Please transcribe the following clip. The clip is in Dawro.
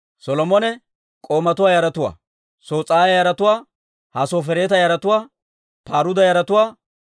Solomone k'oomatuwaa yaratuwaa: Sos'aaya yaratuwaa, Hassofereeta yaratuwaa, Paruuda yaratuwaa,